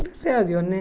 Graças a Deus, né?